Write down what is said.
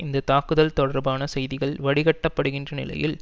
இந்த தாக்குதல் தொடர்பான செய்திகள் வடிகட்டப்படுகின்ற நிலையில்